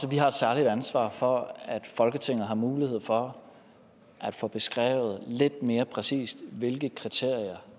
vi har et særligt ansvar for at folketinget får mulighed for at få beskrevet lidt mere præcist hvilke kriterier